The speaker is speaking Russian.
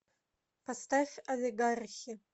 поставь олигархи